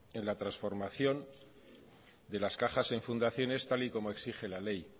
en la transformación de las cajas en fundaciones tal y como exige la ley